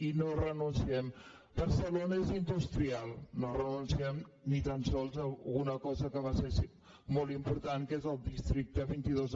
i no hi renunciem barcelona és industrial no renunciem ni tan sols a una cosa que va ser molt important que és el districte vint dos